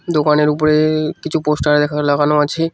দোকানের উপরে কিছু পোস্টার এখানে লাগানো আছে।